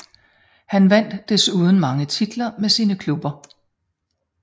Han vandt desuden mange titler med sine klubber